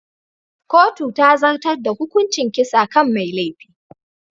Kotu ta zartar da hukuncin kisa kan mai laifin.